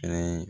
Ɛɛ